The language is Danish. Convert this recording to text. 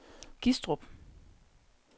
Gistrup